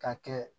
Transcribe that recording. Ka kɛ